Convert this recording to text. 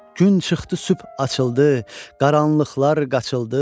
Gün çıxdı sübh açıldı, qaranlıqlar qaçıldı.